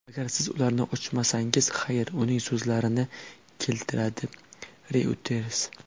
Agar siz ularni ochmasangiz xayr”, uning so‘zlarini keltiradi Reuters.